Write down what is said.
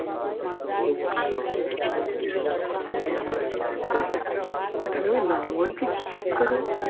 এটা কারোর নাম বলছি কি চেক কর এ